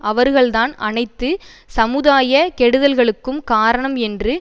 அவர்கள்தான் அனைத்து சமுதாய கெடுதல்களுக்கும் காரணம் என்று